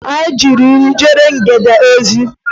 A dịghị iri ejere ngene ozi.